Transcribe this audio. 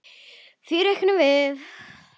Því reiknum við